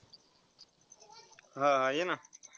हा हा ये ना.